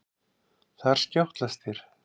Þar skjátlast þér.